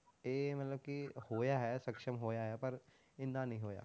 ਇਹ ਮਤਲਬ ਕਿ ਹੋਇਆ ਹੈ ਸਕਸ਼ਮ ਹੋਇਆ ਹੈ, ਪਰ ਇੰਨਾ ਨੀ ਹੋਇਆ।